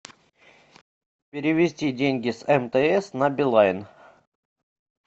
перевести деньги с мтс на билайн